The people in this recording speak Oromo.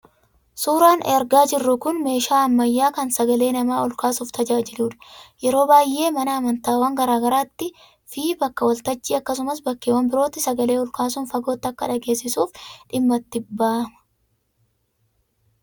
Suuraan argaa jirru kun meeshaa ammayyaa kan sagalee namaa ol kaasuuf tajaajiludha. Yeroo baay'ee mana amantaawwan garaa garaattii fi bakka wal-tajjii akkasumas bakkeewwan birootti sagalee olkaasuun fagootti akka dhageesisuuf dhimma itti bahama.